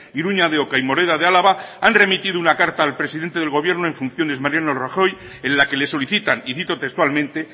iruña de oca y moreda de álava han remitido una carta al presidente del gobierno en funciones mariano rajoy en la que le solicitan y cito textualmente